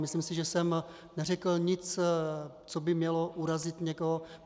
Myslím si, že jsem neřekl nic, co by mělo urazit někoho.